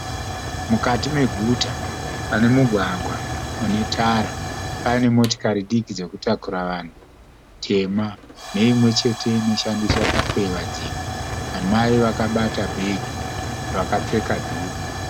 Mukati meguta pane mugwagwa une tara. Pane motikari diki dzekutakura vanhu tema neimwechete inoshandiswa kukweva dzimwe. Amai vakabata bhegi vakapfeka dhuku.